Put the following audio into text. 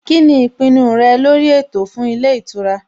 Kíni ìpinnu rẹ lórí ètò fún ilé ìtura?